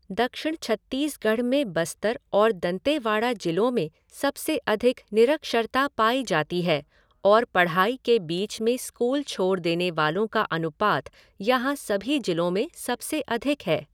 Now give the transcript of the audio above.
दक्षिण छत्तीसगढ़ में बस्तर और दंतेवाड़ा जिलों में सबसे अधिक निरक्षरता पाई जाती है और पढ़ाई के बीच में स्कूल छोड़ देने वालों का अनुपात यहाँ सभी जिलों में से सबसे अधिक है।